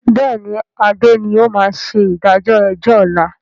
Bẹ́ẹ̀ni adé ni ó máa ṣe ìdájọ́ ẹjọ́ ọ̀la